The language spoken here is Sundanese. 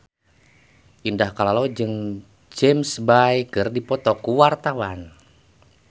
Indah Kalalo jeung James Bay keur dipoto ku wartawan